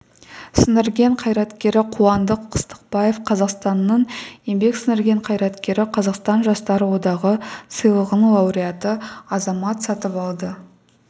сіңірген қайраткері қуандық қыстықбаев қазақстанның еңбек сіңірген қайраткері қазақстан жастар одағы сыйлығының лауреаты азамат сатыбалды